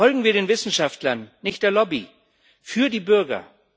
Folgen wir den Wissenschaftlern, nicht der Lobby für die Bürger.